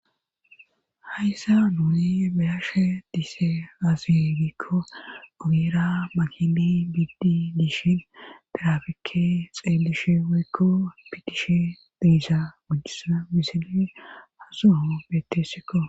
Hayssa nuuni bayashe dise asi gikko agira makini biddi diishin drafikke xeelishe woykko pitishe deisa gojjisa misili hasoho bettessikko.